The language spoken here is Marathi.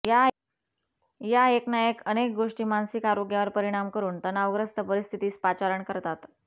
या एक ना अनेक गोष्टी मानसिक आरोग्यावर परिणाम करून तणावग्रस्त परिस्थितीस पाचारण करतात